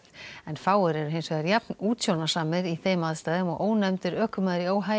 fáir eru hins vegar jafn útsjónarsamir í þeim aðstæðum og ónefndur ökumaður í